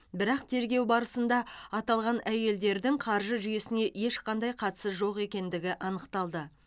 бірақ тергеу барысында аталған әйелдердің қаржы жүйесіне ешқандай қатысы жоқ екендігі анықталды